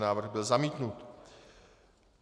Návrh byl zamítnut.